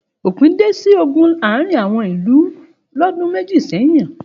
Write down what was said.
Òpin dé sí ogun àárín àwọn ìlú lọ́dún méjì sẹ́yìn.